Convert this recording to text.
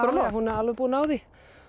hún er alveg búin á því